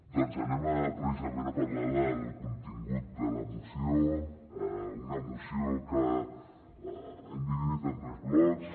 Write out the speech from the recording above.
doncs anem precisament a parlar del contingut de la moció una moció que hem dividit en tres blocs